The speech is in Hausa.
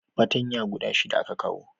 patanya guda shida za a kawo